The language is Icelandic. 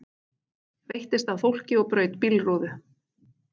Veittist að fólki og braut bílrúðu